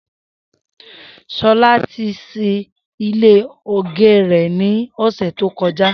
Shola ti ṣí ilé ógé rè ni ọsẹ tókọ̀já